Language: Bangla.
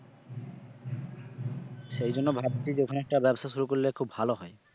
সেই জন্য ভাবছি যে ওখানে একটা ব্যবসা শুরু করলে খুব ভালো হয়।